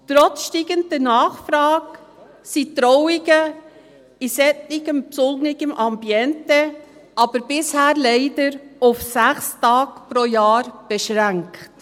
Trotz steigender Nachfrage sind Trauungen in solchem besonderen Ambiente aber bisher leider auf 6 Tage pro Jahr beschränkt.